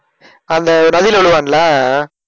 அந்த நதியில விழுவான்ல?